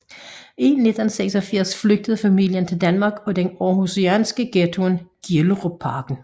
I 1986 flygtede familien til Danmark og den aarhusianske ghetto Gellerupparken